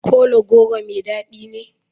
Kola goro mai dadi ne?